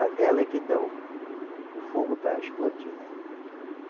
A vela é que dá o o fogo para explodir, né?